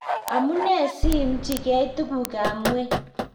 amunee siimchigei tugukab ng'weny?